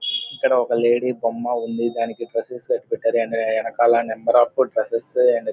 ఇక్కడ ఒక లేడీ బొమ్మ ఉంది దానికి డ్రెస్సెస్ వేసి పెట్టారు దాని వెనకాల నెంబర్ ఆఫ్ డ్రెస్సెస్ అండ్ --